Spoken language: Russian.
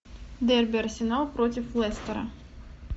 дерби арсенал против лестера